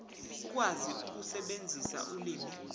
ukwazi ukusebenzisa ulimi